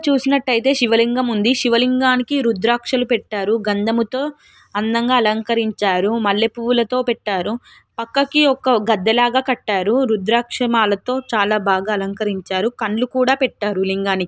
చేసినట్టు ఐతే శివలింగం ఉంది శివలింగం కి రుద్రాక్షక్షులు పెట్టారు గంధం తో అందంగా అలంకరించారు మల్లెపూవులతో పెట్టారు పక్కకి ఒక గద్దెలగా కట్టారు రుద్రకాశమాలతో చాలా బాగా అలంకరించారు కలుకూడా పెట్టారు లింగానికి.